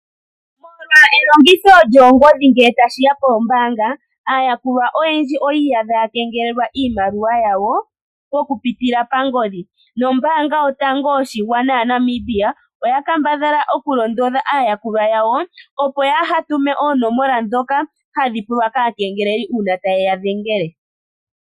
Molwa elongitho lyoongodhi ngele tashi ya poombaanga, aayakulwa oyendji oyi iyadha yakengelelwa iimaliwa yawo okupitila pangodhi. Nombaanga yotango yoshigwana yaNamibia oya kambadhala okulondodha aayakulwa yawo, opo yaa ha tume oonomola ndhoka hadhi pulwa kaakengeleli uuna taye ya dhengele.